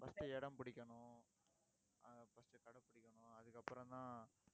first இடம் பிடிக்கணும் அஹ் first கடை பிடிக்கணும் அதுக்கப்புறம்தான்